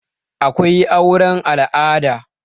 akwai auren al'ada